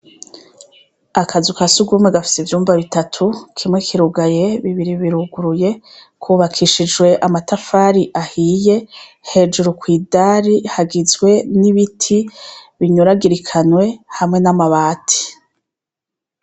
Akazu kasugumwe gafise ivyumba bitatu kimwe kirugaye bibiri biruguruye kubakishijwe amatafari ahiye hejuru kwidari n'ibiti binyuragirikanye hamwe n'amabati .